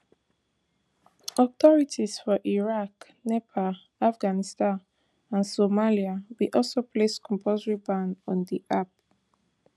authorities for iran nepal afghanistan and somalia bin also place compulsory ban on di app